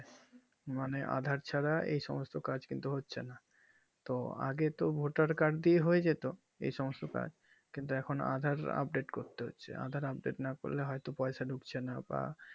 নাম aadhaar ছাড়া এই সমস্ত কাজ কিন্তু হচ্ছে না তো আগে তো vote এর card দিয়ে হয়ে যেত এই সমস্ত কাজ কিন্তু এখন aadhaar update করতে হচ্ছে aadhaar update না করলে হয় তো পয়সা ঢুকছেনা বা